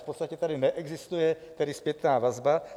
V podstatě tady neexistuje zpětná vazba.